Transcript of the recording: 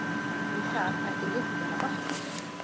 Við það ætti lyktin að batna.